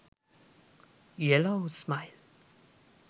yellow smile